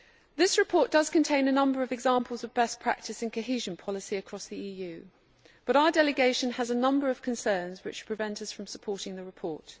This report does contain a number of examples of best practice and cohesion policy across the EU, but our delegation has a number of concerns which prevent us from supporting the report.